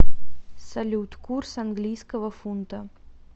салют курс английского фунта